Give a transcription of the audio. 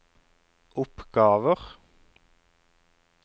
oppgaver